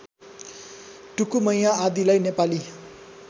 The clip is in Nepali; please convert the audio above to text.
टुकुमैया आदिलाई नेपाली